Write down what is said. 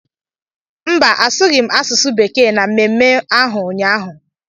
Mba, asụghị m asụsụ Bekee na mmemme ahụ ụnyaahụ.